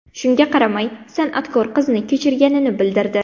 Shunga qaramay, san’atkor qizni kechirganini bildirdi.